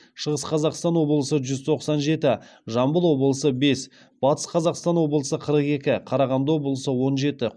шығыс қазақстан облысы жүз тоқсан жеті жамбыл облысы бес батыс қазақстан облысы қырық екі қарағанды облысы он жеті